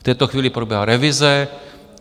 V této chvíli probíhá revize.